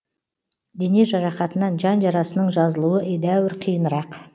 дене жарақатынан жан жарасының жазылуы едәуір қиынырақ